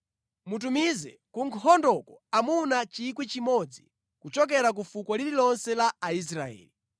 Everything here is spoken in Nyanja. Mutumize ku nkhondoko amuna 1,000 kuchokera ku fuko lililonse la Aisraeli.”